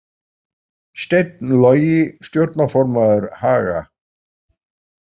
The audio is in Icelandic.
Steinn Logi stjórnarformaður Haga